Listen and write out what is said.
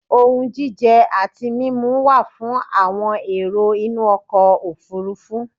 Ohun jíjẹ àti mímu wa fún àwon èrò inú ọkọ̀ òfurufú